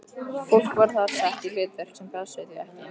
Fólk var þar sett í hlutverk sem pössuðu því ekki.